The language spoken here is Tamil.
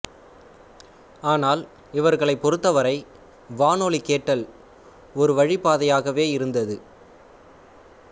ஆனால் இவர்களைப் பொறுத்தவரை வானொலி கேட்டல் ஒருவழிப் பாதையாகவே இருந்தது